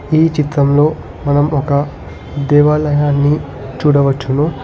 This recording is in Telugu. ఈ చిత్రంలో మనం ఒక దేవాలయాన్ని చూడవచ్చును.